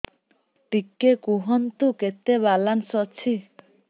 ଟିକେ କୁହନ୍ତୁ କେତେ ବାଲାନ୍ସ ଅଛି